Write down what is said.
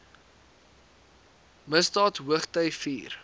misdaad hoogty vier